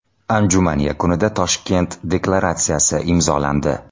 Anjuman yakunida Toshkent deklaratsiyasi imzolandi.